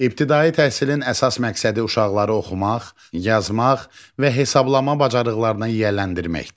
İbtidai təhsilin əsas məqsədi uşaqları oxumaq, yazmaq və hesablama bacarıqlarına yiyələndirməkdir.